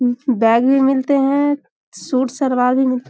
उम bag भी मिलते हैं सूट-सलवार भी मिल --